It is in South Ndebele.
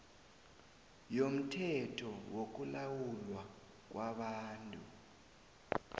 yomthetho wokulawulwa kwabantu